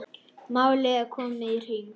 Málið er komið í hring.